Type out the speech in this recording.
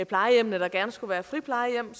plejehjemmene der gerne skulle være friplejehjem